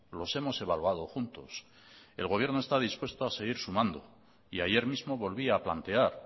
los hemos evaluado juntos el gobierno está dispuesto a seguir sumando y ayer mismo volvía a plantear